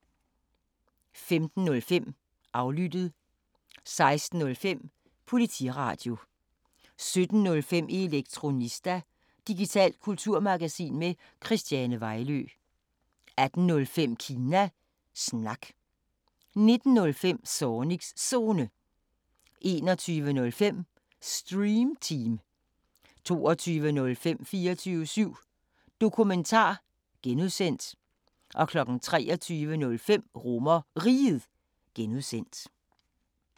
15:05: Aflyttet 16:05: Politiradio 17:05: Elektronista – digitalt kulturmagasin med Christiane Vejlø 18:05: Kina Snak 19:05: Zornigs Zone 21:05: Stream Team 22:05: 24syv Dokumentar (G) 23:05: RomerRiget (G)